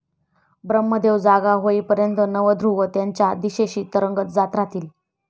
ब्रम्हदेव जागा होईपर्यंत नव ध्रुव त्यांच्या दिशेने तरंगत जात राहील.